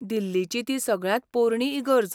दिल्लीची ती सगळ्यांत पोरणी इगर्ज.